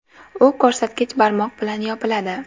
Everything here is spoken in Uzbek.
U ko‘rsatkich barmoq bilan yopiladi.